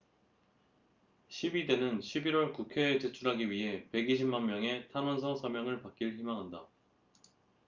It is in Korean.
시위대는 11월 국회에 제출하기 위해 120만 명의 탄원서 서명을 받길 희망한다